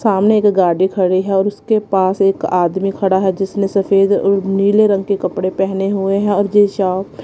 सामने एक गाड़ी खड़ी है और उसके पास एक आदमी खड़ा है जिसने सफेद और नीले रंग के कपड़े पहने हुए है और जिन साफ--